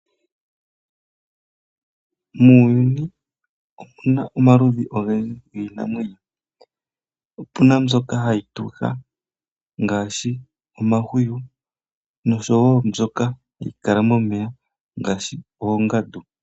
Muuyuni omu na omaludhi ogendji giinamwenyo. Opu na mbyoka hayi tuka ngaashi omahwiyu noshowo mbyoka hayi kala momeya ngaashi oongandu.